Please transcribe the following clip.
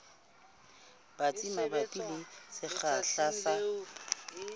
batsi mabapi le sekgahla sa